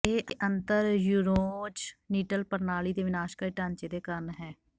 ਇਹ ਅੰਤਰ ਯੂਰੋਜ਼ਨਿਟਲ ਪ੍ਰਣਾਲੀ ਦੇ ਵਿਨਾਸ਼ਕਾਰੀ ਢਾਂਚੇ ਦੇ ਕਾਰਨ ਹੈ